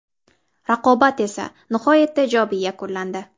Raqobat esa nihoyatda ijobiy yakunlandi.